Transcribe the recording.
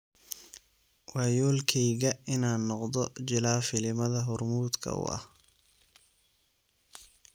Waa yoolkeyga inaan noqdo jilaa filimada hormuudka u ah.